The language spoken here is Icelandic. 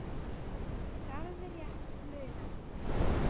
Það er alveg rétt munað.